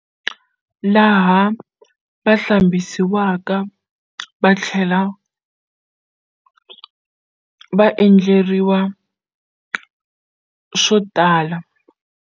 Laha va hlambhisiwaka va tlhela va endleriwa swo tala.